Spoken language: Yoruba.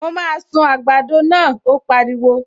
Mo máa sun àgbàdo náà, ó pariwo